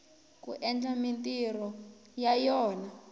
ku endla mintirho ya yona